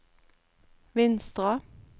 Vinstra